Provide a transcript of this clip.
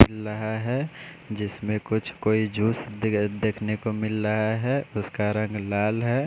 ला है जिसमे कुछ कोई जूस देव्-देखने को मिल लहा है उसका रंग लाल है।